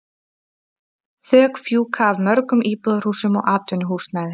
Þök fjúka af mörgum íbúðarhúsum og atvinnuhúsnæði.